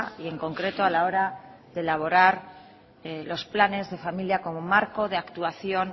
y en concreto a la hora de elaborar los planes de familia como marco de actuación